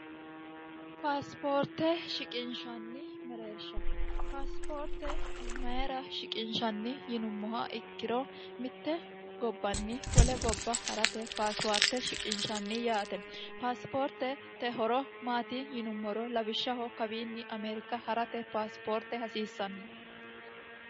paasipoorte shiqinshanni mereersha paasipoorte mayira shiqinshanni yinummoha ikkiro mitte gobbanni wole gobba ha'rate paasiwaarte shiqinshanni yaate paasipoorte horo maati yinummoro lawishshaho kawiinni ameerika ha'rate paasipoorte hasiissanno